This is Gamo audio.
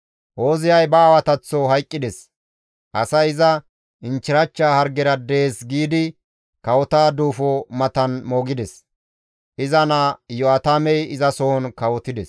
Ooziyay ba aawataththo hayqqides; asay iza, «Inchchirachcha hargera dees» giidi kawota duufo matan moogides; iza naa Iyo7aatamey izasohon kawotides.